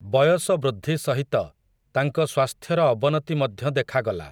ବୟସ ବୃଦ୍ଧି ସହିତ, ତାଙ୍କ ସ୍ୱାସ୍ଥ୍ୟର ଅବନତି ମଧ୍ୟ ଦେଖାଗଲା ।